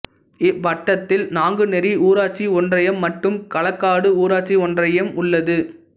இவ்வட்டத்தில் நாங்குநேரி ஊராட்சி ஒன்றியம் மற்றும் களக்காடு ஊராட்சி ஒன்றியம் உள்ளது